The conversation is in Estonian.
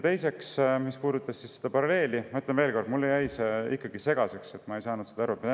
Mis puudutas seda paralleeli, siis ütlen veel kord, et see jäi mulle ikkagi segaseks ja ma ei saanud sellest aru.